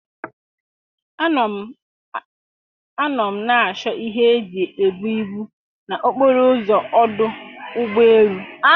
A nọ m na-achọ ihe eji ebu ibu na okporo ụzọ ọdụ ụgbọ elu.